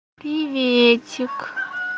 приветик